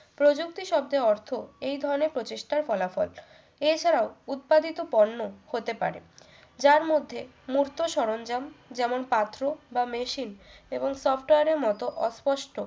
প্রযুক্তি শব্দের অর্থ এই ধরনের প্রচেষ্টার ফলাফল এছাড়াও উৎপাদিত পণ্য হতে পারে যার মধ্যে মুক্ত সরঞ্জাম যেমন পাথর বা machine এবং software এর মতো অস্পষ্ট